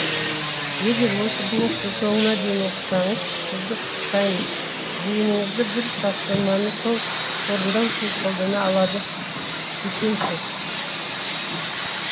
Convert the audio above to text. егер осы блогты соңына дейін оқысаңыз сізді құттықтаймын зейініңізді бір тапсырманы толық орындау үшін қолдана алады екенсіз